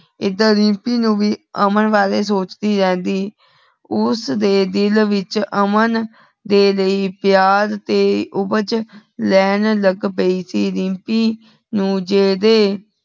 ਐਡਰ ਰਿਮਪੀ ਨੂ ਵੀ ਅਮਨ ਬਾਰੇ ਸੋਚਦੀ ਰਿਹੰਦੀ। ਓਸਦੀ ਦਿਲ ਵਿਚ ਅਮਨ ਦੇ ਲੈ ਪਿਆਰ ਤੇ ਉਪਜ ਲੈਣ ਲੱਗ ਪਯੀ ਸੀ। ਰਿਮਪੀ ਨੂ ਜੇਦੇ